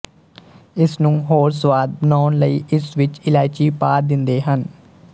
ਇਸਨੂੰ ਹੋਰ ਸਵਾਦ ਬਣਾਉਣ ਲਈ ਇਸ ਵਿੱਚ ਇਲਾਇਚੀ ਪਾ ਦਿੰਦੇ ਹਨ